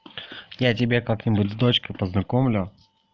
я тебя как-нибудь с дочкой познакомлю